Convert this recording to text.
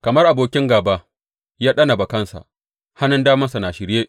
Kamar abokin gāba, ya ɗana bakansa; hannun damansa na shirye.